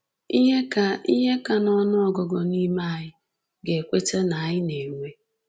Ihe ka Ihe ka n’ọnụ ọgụgụ n’ime anyị ga-ekweta na anyị na-enwe.